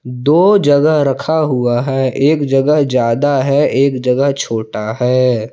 दो जगह रखा हुआ है एक जगह ज्यादा है एक जगह छोटा है।